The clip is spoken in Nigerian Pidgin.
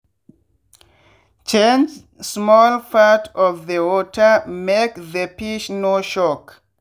change small part of the watermake the fish no shock.